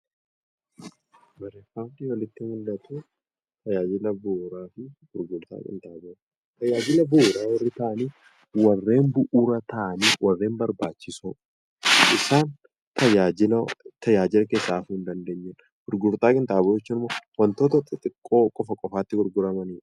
Barreeffamni olitti mul'atu, tajaajila bu'uuraafi gurgurtaa qinxaaboo. Tajaajila bu'uuraa warri ta'ani, warreen bu'uura ta'anii warreen barbaachisoo isaan tajaajiloo tajaajila keessaa hafuu hin dandeenyedha. Gurgurtaa qinxaaboo jechuun immoo wantoota xixiqqoo qofa qofaatti gurguramanidha.